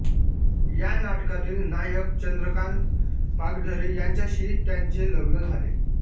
या नाटकातील नायक चंद्रकांत पागधरे यांच्याशी त्यांचे लग्न झाले